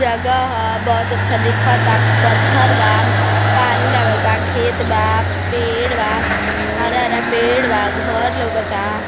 जगहा हा बहोत अच्छा दिखत हा पत्थर बा । पानी लगल ब खेत बा पेड़ बा । हरा हरा पेड़ बा। घर लौकता ।